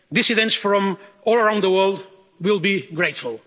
Dissidents from all around the world will be grateful.